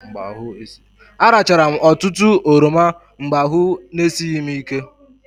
Arachara m ọtụtụ oroma mgbe ahụ esighị m ike.